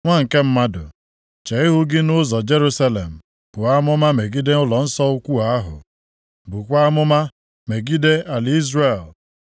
“Nwa nke mmadụ, chee ihu gị nʼụzọ Jerusalem, buo amụma megide ụlọnsọ ukwu ahụ. Bukwaa amụma megide ala Izrel